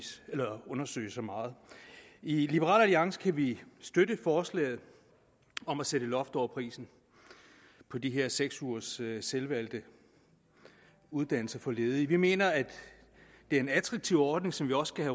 at undersøge så meget i liberal alliance kan vi støtte forslaget om at sætte loft over prisen på de her seks ugers selvvalgt uddannelse for ledige vi mener at det er en attraktiv ordning som vi også